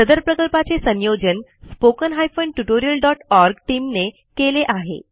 सदर प्रकल्पाचे संयोजन spoken tutorialओआरजी टीम ने केले आहे